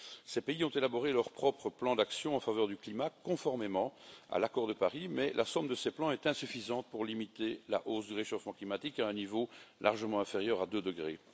Ces pays ont élaboré leur propre plan d'action en faveur du climat, conformément à l'accord de Paris, mais la somme de ces plans est insuffisante pour limiter la hausse du réchauffement climatique à un niveau largement inférieur à 2 degrés.